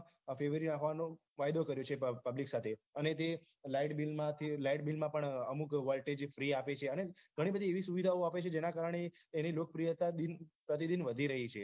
ફેરવી નાખવાનો કાયદો કર્યો છે public સાથે અને તે lightbill મા થી lightbill મા પણ અમુક voltage free આપે છે અને ઘણી બધી એવી સુવિધા આપે છે જેના કારણે એની લોકપ્રિયતા દિન પ્રતિદિન વધી રહી છે